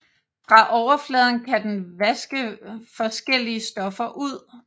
Fra overfladen kan den vaske forskellige stoffer ud